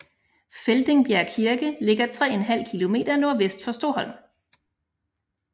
Feldingbjerg Kirke ligger 3½ km nordvest for Stoholm